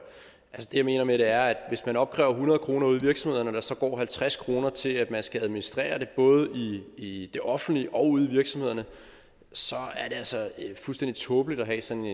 det jeg mener med det er hvis man opkræver hundrede kroner ude i virksomhederne og der så går halvtreds kroner til at man skal administrere det både i i det offentlige og ude i virksomhederne så er det altså fuldstændig tåbeligt at have sådan